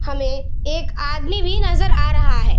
हमे एक आदमी भी नजर आ रहा है।